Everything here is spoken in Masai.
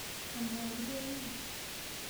Amaa kitoning'o?